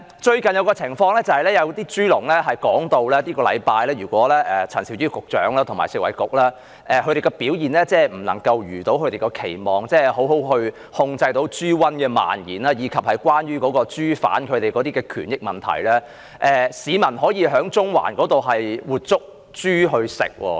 最近的情況是有豬農表示，如果陳肇始局長和食物及衞生局這個星期的表現未如期望，即未能妥善控制豬瘟的蔓延，以及處理有關豬販的權益問題，市民便可以在中環捉活豬來吃。